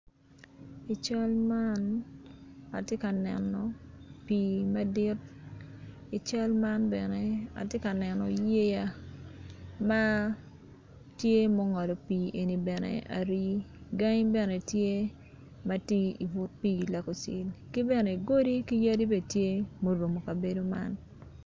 I cal man atye ka neno pi madit i cal man bene atye ka neno yeya matye ma ongolo pi eni bene ari gangi bene tye matye ibut pi lekosin ki bene godi ki yadi bene tye marumo kabedo man.